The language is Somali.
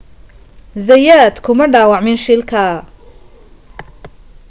zayat kuma dhaawacmin shilka